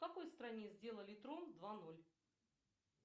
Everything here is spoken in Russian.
в какой стране сделали трон два ноль